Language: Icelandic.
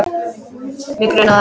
Mig grunaði það!